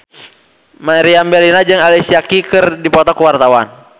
Meriam Bellina jeung Alicia Keys keur dipoto ku wartawan